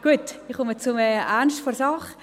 Gut, ich komme zum Ernst der Sache.